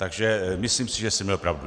Takže si myslím, že jsem měl pravdu.